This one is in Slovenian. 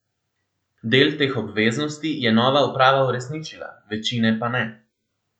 Del teh obveznosti je nova uprava uresničila, večine pa ne.